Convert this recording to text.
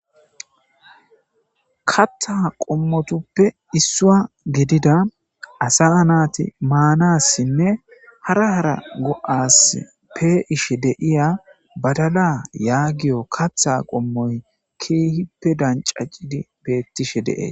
Katha qommotupoe issuwa gidida asaa naati maanassinne hara hara go7assi pee7ishe de7iya badala yaagiyo katha qommoy keehippe danccacidi beettishe de7e.